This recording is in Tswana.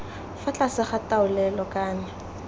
fa tlase ga taolelo kana